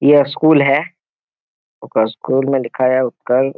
ये स्कूल है। ओकर स्कूल में लिखाया --